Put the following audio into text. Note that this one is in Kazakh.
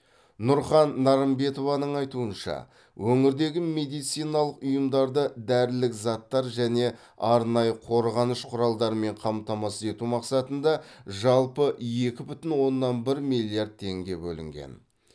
нұрхан нарымбетованың айтуынша өңірдегі медициналық ұйымдарды дәрілік заттар және арнайы қорғаныш құралдарымен қамтамасыз ету мақсатында жалпы екі бүтін оннан бир миллиард теңге бөлінген